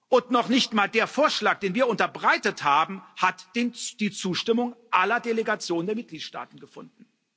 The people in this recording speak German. Und noch nicht mal der Vorschlag, den wir unterbreitet haben, hat die Zustimmung aller Delegationen der Mitgliedstaaten gefunden.